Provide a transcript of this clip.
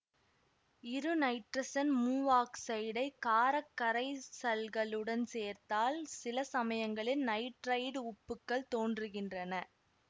இருநைட்ரசன் மூவாக்சைடை காரக் கரைசல்களுடன் சேர்த்தால் சிலசமயங்களில் நைட்ரைட்டு உப்புகள் தோன்றுகின்றன